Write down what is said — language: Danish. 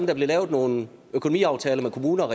der blev lavet nogle økonomiaftaler med kommunerne